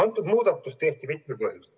See muudatus tehti mitmel põhjusel.